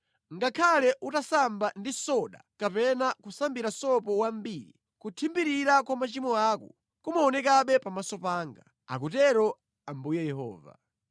Ngakhale utasamba ndi soda kapena kusambira sopo wambiri, kuthimbirira kwa machimo ako kumaonekabe pamaso panga,” akutero Ambuye Yehova.